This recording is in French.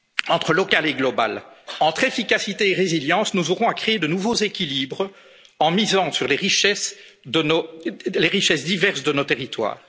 de résilience. Entre local et global, entre efficacité et résilience, nous aurons à créer de nouveaux équilibres en misant sur les richesses diverses de nos